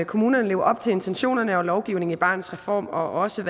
kommunerne lever op til intentionerne og lovgivningen i barnets reform og også